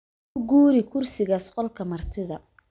U guuri kursigaas qolka martida